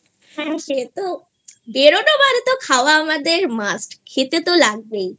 হ্যাঁ সে তো বেরোনো মানে তো খাওয়া আমাদের Must খেতে তো লাগবেই